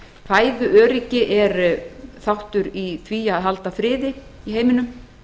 fæðuöryggi er þáttur í því að halda friði í heiminum